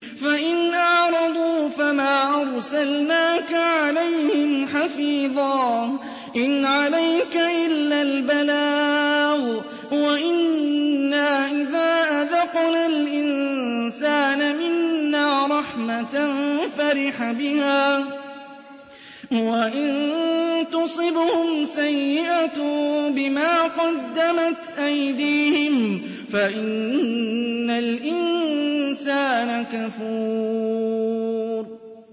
فَإِنْ أَعْرَضُوا فَمَا أَرْسَلْنَاكَ عَلَيْهِمْ حَفِيظًا ۖ إِنْ عَلَيْكَ إِلَّا الْبَلَاغُ ۗ وَإِنَّا إِذَا أَذَقْنَا الْإِنسَانَ مِنَّا رَحْمَةً فَرِحَ بِهَا ۖ وَإِن تُصِبْهُمْ سَيِّئَةٌ بِمَا قَدَّمَتْ أَيْدِيهِمْ فَإِنَّ الْإِنسَانَ كَفُورٌ